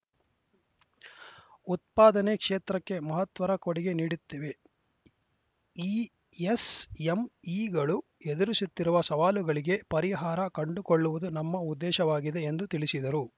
ಉತ್ಪಾದನೆ ಕ್ಷೇತ್ರಕ್ಕೆ ಮಹತ್ವರ ಕೊಡುಗೆ ನೀಡುತ್ತಿವೆ ಈ ಎಸ್‌ಎಂಇಗಳು ಎದುರಿಸುತ್ತಿರುವ ಸವಾಲುಗಳಿಗೆ ಪರಿಹಾರ ಕಂಡುಕೊಳ್ಳುವುದು ನಮ್ಮ ಉದ್ದೇಶವಾಗಿದೆ ಎಂದು ತಿಳಿಸಿದರು